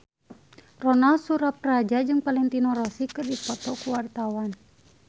Ronal Surapradja jeung Valentino Rossi keur dipoto ku wartawan